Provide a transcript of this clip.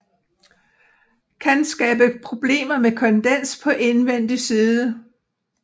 Kan skabe problemer med kondens på indvendig side